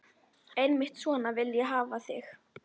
Einmitt svona vil ég hafa þig.